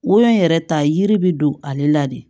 Wo in yɛrɛ ta ye yiri bɛ don ale la de